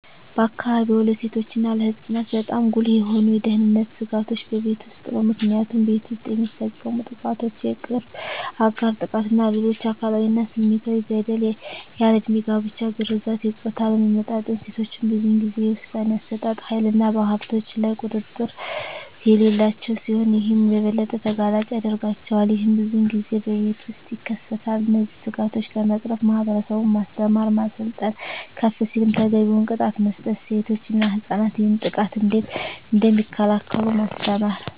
በአካባቢዎ ለሴቶች እና ለህፃናት በጣም ጉልህ የሆኑ የደህንነት ስጋቶች በቤት ውስጥ ነው። ምክንያቱም ቤት ውስጥ የሚፈፀሙ ጥቃቶች የቅርብ አጋር ጥቃት እና ሌሎች አካላዊ እና ስሜታዊ በደል፣ ያልድሜ ጋብቻ፣ ግርዛት፣ የፆታ አለመመጣጠን፣ ሴቶች ብዙን ጊዜ የውሣኔ አሠጣጥ ሀይልና በሀብቶች ላይ ቁጥጥር የሌላቸው ሲሆን ይህም የበለጠ ተጋላጭ ያደርጋቸዋል። ይህም ብዙን ጊዜ በቤት ውስጥ ይከሰታል። እነዚህን ስጋቶች ለመቅረፍ ማህበረሰቡን ማስተማር፣ ማሰልጠን፣ ከፍ ሲልም ተገቢውን ቅጣት መስጠት፣ ሴቶች እና ህፃናት ይህንን ጥቃት እንዴት እደሚከላከሉ ማስተማር።